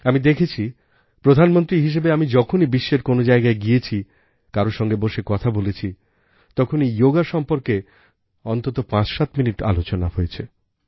আমি দেখেছি প্রধানমন্ত্রী হিসেবে আমি যখনই বিশ্বের কোনো জায়গায় গিয়েছি কারও সঙ্গে বসে কথা বলেছি তখনই যোগা সম্বন্ধে অন্ততঃ পাঁচসাত মিনিট আলোচনা হয়েছে